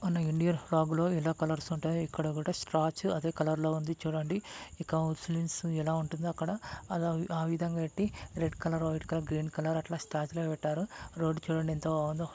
చిత్రం చూడండి సముద్రం పక్కనే విధంగా ఉన్నాయి. ఇది సముద్రంలో ఒక చోటు నుంచి మరో చోటుకు వెళ్లడానికి పడవ అనేది ఉపయోగపడుతుంది. సముద్రంలో స్నానం చేయవచ్చు ఈత కొట్టాలి.